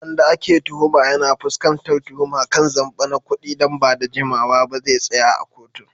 Wanda ake tuhuma, yana fuskantar tuhuma kan zamba na kudi, nan ba da jimawa ba zai tsaya a kotun